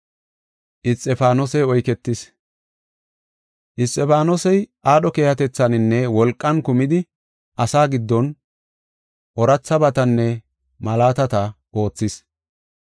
Isxifaanosey aadho keehatethaaninne wolqan kumidi asaa giddon oorathabatanne malaatata oothees.